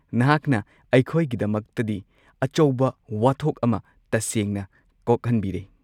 ꯅꯍꯥꯛꯅ ꯑꯩꯈꯣꯏꯒꯤꯗꯃꯛꯇꯗꯤ ꯑꯆꯧꯕ ꯋꯥꯊꯣꯛ ꯑꯃ ꯇꯁꯦꯡꯅ ꯀꯣꯛꯍꯟꯕꯤꯔꯦ꯫